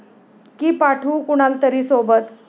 की पाठवू कुणाला तरी सोबत?